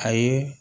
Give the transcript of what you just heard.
A ye